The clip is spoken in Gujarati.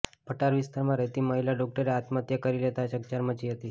ભટાર વિસ્તારમાં રહેતી મહિલા ડોક્ટરે આત્મહત્યા કરી લેતા ચકચાર મચી હતી